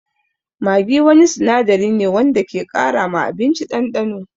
Maggi wani sinadari ne wanda ke ƙara ma abinci ɗanɗano.